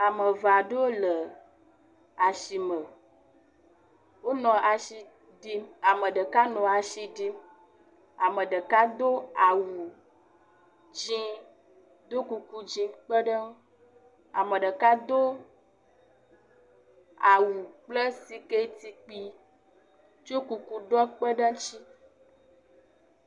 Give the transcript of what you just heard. ame eve'ɖewo le asime wóle asiɖim ameɖeka nɔ asiɖim ameɖeka dó awu dzĩ ɖó kuku dzí kpeɖe ŋu ameɖeka dó awu kple sikɛti kpi tso kuku ɖɔ kpeɖe ŋtsi